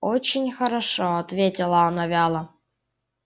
очень хорошо ответила она вяло